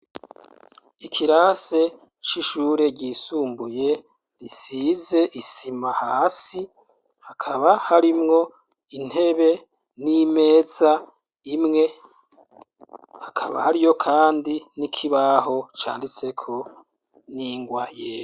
Ikirasi c'ishure ry'isumbuye risize isima hasi hakaba harimwo intebe n'imeza imwe hakaba hariyo kandi n'ikibaho canditseko n'ingwa yera.